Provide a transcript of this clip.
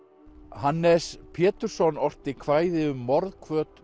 Hannes Pétursson orti kvæði um